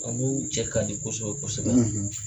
cɛ ka di kosɛbɛ kosɛbɛ.